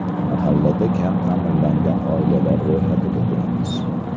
Mahallada kam ta’minlangan oilalar ro‘yxatida turamiz.